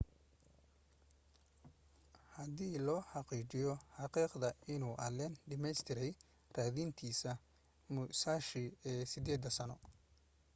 hadii la xaqiijiyo xaqiiqda inuu allen dhameystirtay raadintiisa musashi ee sideeda-sano